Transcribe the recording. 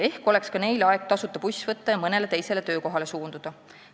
Ehk oleks ka neil aeg tasuta buss võtta ja mõnele teisele töökohale suunduda?